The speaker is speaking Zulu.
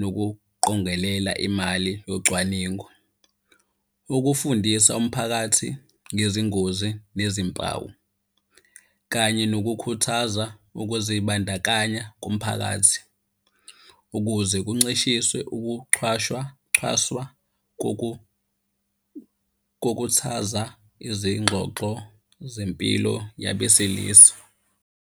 nokuqongelela imali yocwaningo. Ukufundisa umphakathi ngezingozi nezimpawu, kanye nokukhuthaza ukuzibandakanya kumphakathi ukuze kuncishiswe ukuchwashwa, cwaswa kokuthaza izingxoxo zempilo yabesilisa.